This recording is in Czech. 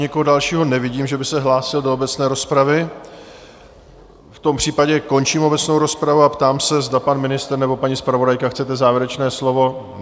Nikoho dalšího nevidím, že by se hlásil do obecné rozpravy, v tom případě končím obecnou rozpravu a ptám se, zda pan ministr nebo paní zpravodajka - chcete závěrečné slovo?